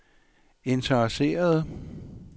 interesserede